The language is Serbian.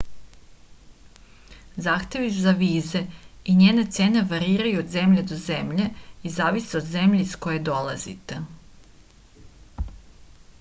zahtevi za vize i njene cene variraju od zemlje do zemlje i zavise od zemlje iz koje dolazite